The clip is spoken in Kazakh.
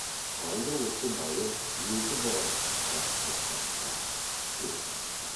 қалай да осы майыр өзі барып құтқарып қайтпаққа серт етті